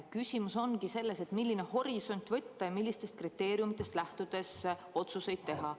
Küsimus ongi selles, milline horisont võtta, millistest kriteeriumidest lähtudes otsuseid teha.